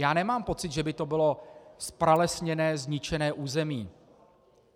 Já nemám pocit, že by to bylo zpralesněné, zničené území.